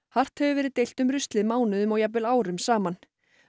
hart hefur verið deilt um ruslið mánuðum og jafnvel árum saman